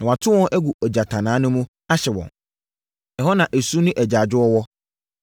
na wɔato wɔn agu ogyatannaa no mu, ahye wɔn. Ɛhɔ na esu ne agyaadwoɔ wɔ.